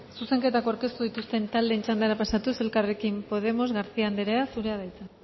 zuzenketak aurkeztu dituzten taldeen txandara pasatuz elkarrekin podemos garcia anderea zurea da hitza